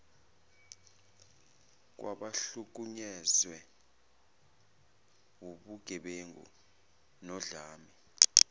kwabahlukunyezwe wubugebengu nodlame